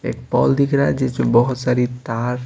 एक पॉल दिख रहा है जिसमें बहुत सारी तार--